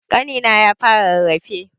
Ƙanina ya fara rarrafe.